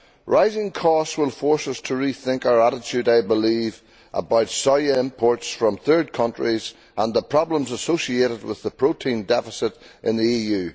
rising costs will force us to rethink our attitude, I believe, about soya imports from third countries and the problems associated with the protein deficit in the EU.